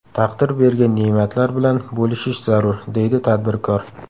Taqdir bergan ne’matlar bilan bo‘lishish zarur”, deydi tadbirkor.